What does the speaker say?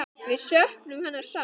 Við söknum hennar sárt.